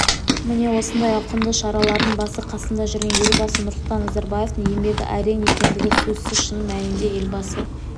міне осындай ауқымды шаралардың басы-қасында жүрген елбасы нұрсұлтан назарбаевтың еңбегі ерен екендігі сөзсіз шын мәнінде елбасы